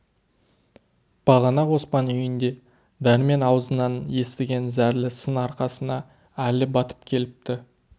бағана оспан үйінде дәрмен аузынан естіген зәрлі сын арқасына әлі батып келіпті